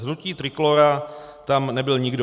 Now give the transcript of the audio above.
Z hnutí Trikolóra tam nebyl nikdo.